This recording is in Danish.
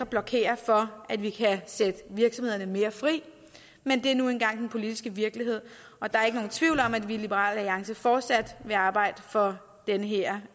blokerer for at vi kan sætte virksomhederne mere fri men det er nu engang den politiske virkelighed og der er ikke nogen tvivl om at vi i liberal alliance fortsat vil arbejde for den her